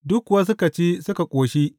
Duk kuwa suka ci, suka ƙoshi.